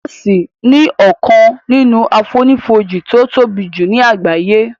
Jọ́òsì ni ọkàn nínú àfonífojì tí ó tóbi jù ní àgbáyé